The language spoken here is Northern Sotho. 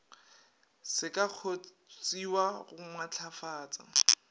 se ka kgontshiwa go matlafatsa